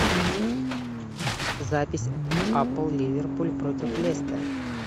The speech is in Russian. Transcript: запись апл ливерпуль против лестер